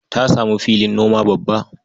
Ya samu filin noma babba.